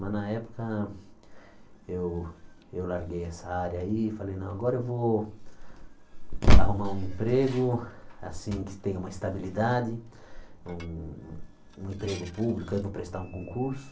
Mas, na época, eu eu larguei essa área aí e falei, não, agora eu vou arrumar um emprego, assim, que tenha uma estabilidade, um um um emprego público, aí vou prestar um concurso.